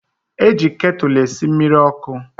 Eji ketụlụ esi mmiri ọkụ